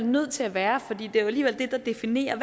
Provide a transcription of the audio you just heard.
nødt til at være for det er alligevel det der definerer